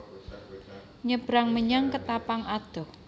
Nyebrang menyang Ketapang adoh